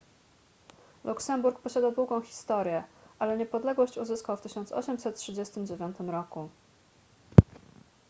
luksemburg posiada długą historię ale niepodległość uzyskał w 1839 r